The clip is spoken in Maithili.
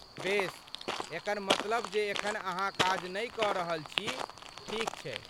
बेस, एकर मतलब जे एखन अहाँ काज नै कऽ रहल छी, ठीक छै?